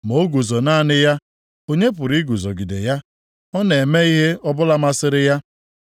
“Ma o guzo naanị ya, onye pụrụ iguzogide ya? Ọ na-eme ihe ọbụla masịrị ya.